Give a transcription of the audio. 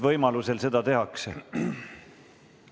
Võimalusel seda tehakse.